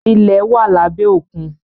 ilẹ̀ wá labẹ Òkun.